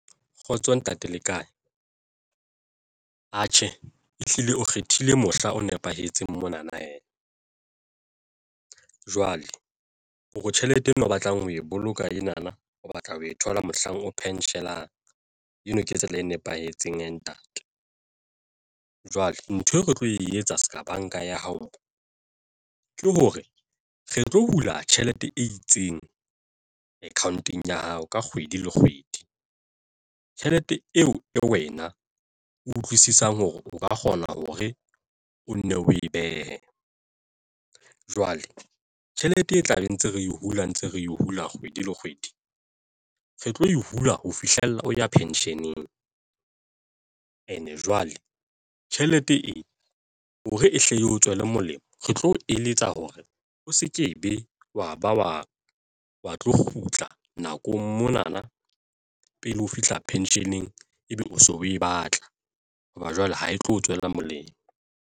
Kgotso ntate le kae? Atjhe, ehlile o kgethile mohla o nepahetseng mona na jwale hore tjhelete eo o batlang ho e boloka ena na o batla ho e thola mohlang o pension-ang eno ke tsela e nepahetseng ntate. Jwale ntho eo re tlo e etsa se ka banka ya hao ke hore re tlo hula tjhelete e itseng account-ong ya hao ka kgwedi le kgwedi. Tjhelete eo e wena o utlwisisang hore o ka kgona hore o nne o e behe jwale tjhelete e tla be ntse re yo dula ntse re e hula kgwedi le kgwedi re tlo hula ho fihlella o ya pension-eng and e jwale tjhelete e hore e hle o tswele molemo. Re tlo o eletsa hore o se ke ebe batla wa ba wa wa tlo kgutla nakong monana pele ho fihla pension-eng, ebe o so o e batla hoba jwale ha e tlo o tswela molemo.